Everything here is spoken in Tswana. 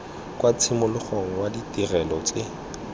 kwa tshimologong wa ditirelo tse